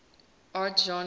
art genres